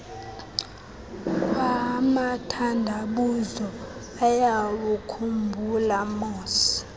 kwamathandabuzo uyawukhumbula moss